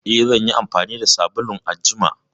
Eh, zan yi amfani da sabulun a jima.